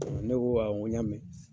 Ne ko awɔ n ko n y'a mɛn.